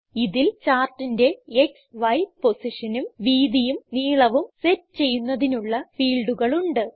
ഇതിൽ ചാർട്ടിന്റെ X Y പൊസിഷനും വീതിയും നീളവും സെറ്റ് ചെയ്യുന്നതിനുള്ള ഫീൽഡുകൾ ഉണ്ട്